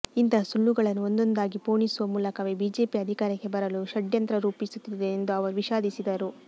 ಇಂತಹ ಸುಳ್ಳುಗಳನ್ನು ಒಂದೊಂದಾಗಿ ಪೋಣಿಸುವ ಮೂಲಕವೇ ಬಿಜೆಪಿ ಅಧಿಕಾರಕ್ಕೆ ಬರಲು ಷಡ್ಯಂತ್ರ ರೂಪಿಸುತ್ತಿದೆ ಎಂದು ಅವರು ವಿಷಾದಿಸಿದರು